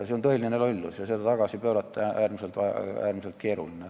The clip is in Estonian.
See on tõeline lollus ja seda tagasi pöörata on äärmiselt keeruline.